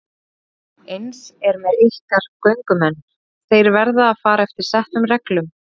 Eins er með ykkar göngumenn, þeir verða að fara eftir settum reglum.